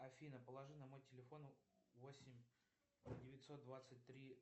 афина положи на мой телефон восемь девятьсот двадцать три